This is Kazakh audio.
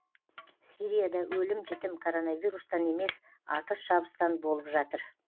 сирияда өлім жітім короновирустан емес атыс шабыстан болып жатыр